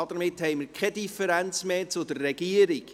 Damit haben wir keine Differenz mehr zur Regierung.